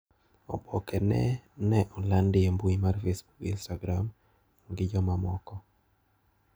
Oboke ne no olandi e mbui mar Facebook gi Instagram gi jomamoko.